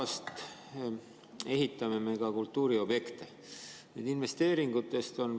Ma julgen ikkagi kahelda, et need kaughasartmängu pakkujad Eestis, kes pakuvad seda väljapoole, siin kuritegevusega tegelevad.